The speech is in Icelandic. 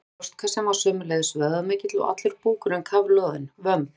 Brjóstkassinn var sömuleiðis vöðvamikill og allur búkurinn kafloðinn, vömb